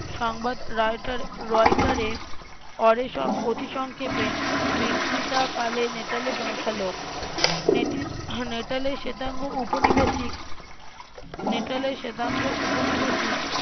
সংবাদ Reuter Reuter এ অতি সংক্ষেপে বিক্রিতকালে নেটালে পৌঁছাল নেটালে শ্বেতাঙ্গ উপনিবেশিক নেটালে শ্বেতাঙ্গ উপনিবেশিক